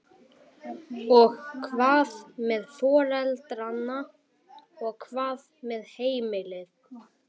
Og hvað með foreldrana og hvað með heimilin?